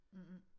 Mhmh